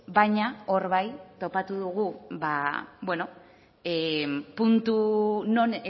baina hor bai topatu dugu puntu non